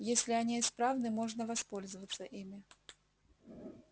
если они исправны можно воспользоваться ими